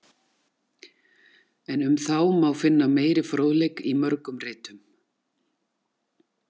En um þá má finna meiri fróðleik í mörgum ritum.